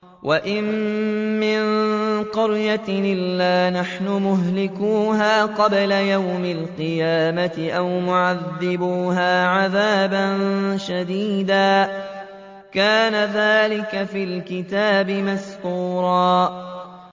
وَإِن مِّن قَرْيَةٍ إِلَّا نَحْنُ مُهْلِكُوهَا قَبْلَ يَوْمِ الْقِيَامَةِ أَوْ مُعَذِّبُوهَا عَذَابًا شَدِيدًا ۚ كَانَ ذَٰلِكَ فِي الْكِتَابِ مَسْطُورًا